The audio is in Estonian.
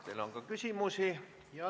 Teile on ka küsimusi.